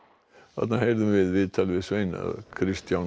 þarna heyrðum við viðtal við Svein Kristján